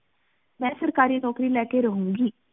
ਮੈਂ ਸਰਕਾਰੀ ਨੋਕਰੀ ਲੈ ਕ ਰਹੁ ਗੀ